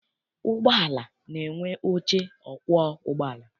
Ụgbọala na-enwe oche ọkwọ ụgbọala.